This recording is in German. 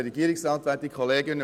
Es sind Richtlinien.